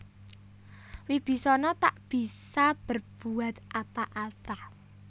Wibisana tak bisa berbuat apa apa